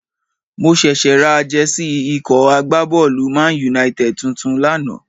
Mo ṣẹ̀ṣẹ̀ ra Jẹ́sí ikọ̀ agbábọ́ọ̀lù ManUnited tuntun lánàá